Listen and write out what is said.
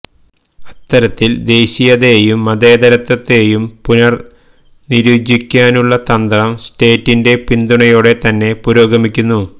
അത്തരത്തില് ദേശീയതയെയും മതേതരത്വത്തെയും പുനര്നിര്വചിക്കാനുള്ള തന്ത്രം സ്റ്റേറ്റിന്റെ പിന്തുണയോടെ തന്നെ പുരോഗമിക്കുന്നു